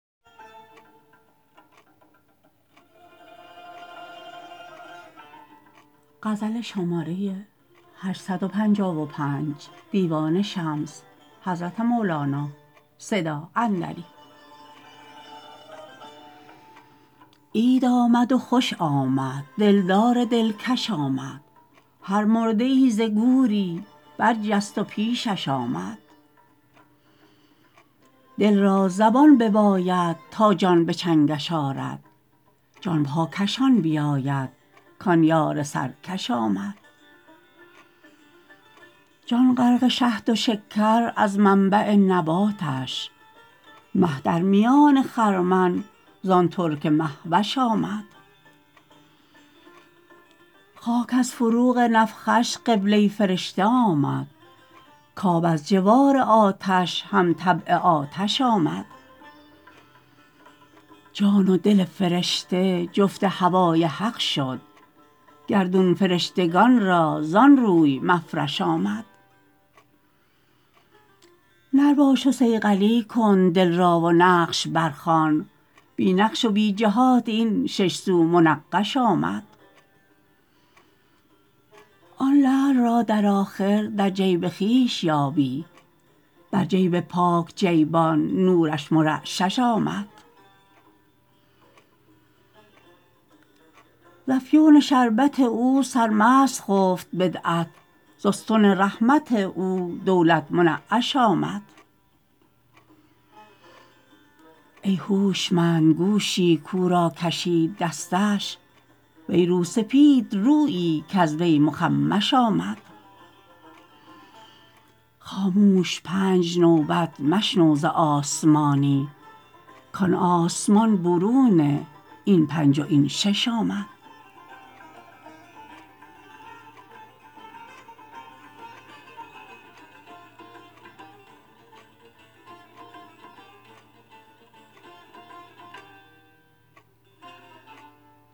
عید آمد و خوش آمد دلدار دلکش آمد هر مرده ای ز گوری برجست و پیشش آمد دل را زبان بباید تا جان به چنگش آرد جان پاکشان بیاید کان یار سرکش آمد جان غرق شهد و شکر از منبع نباتش مه در میان خرمن زان ترک مه وش آمد خاک از فروغ نفخش قبله فرشته آمد کب از جوار آتش همطبع آتش آمد جان و دل فرشته جفت هوای حق شد گردون فرشتگان را زان روی مفرش آمد نر باش و صیقلی کن دل را و نقش برخوان بی نقش و بی جهات این شش سو منقش آمد آن لعل را در آخر در جیب خویش یابی بر جیب پاک جیبان نورش مر شش آمد ز افیون شربت او سرمست خفت بدعت ز استون رحمت او دولت منعش آمد ای هوشمند گوشی کو را کشید دستش وی روسپید رویی کز وی مخمش آمد خاموش پنج نوبت مشنو ز آسمانی کان آسمان برون این پنج و این شش آمد